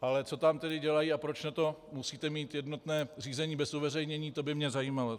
Ale co tam tedy dělají a proč na to musíte mít jednotné řízení bez uveřejnění, to by mě zajímalo.